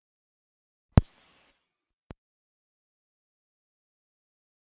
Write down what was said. Hver er erfiðasti útivöllurinn?